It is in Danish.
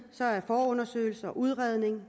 forundersøgelse udredning